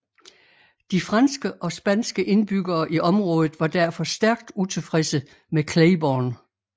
De franske og spanske indbyggere i området var derfor stærkt utilfredse med Claiborne